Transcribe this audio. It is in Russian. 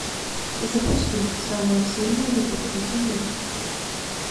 запусти самая сильная любовь на земле